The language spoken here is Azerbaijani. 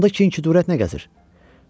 Onda Kiniki cəsarət nə gəzir?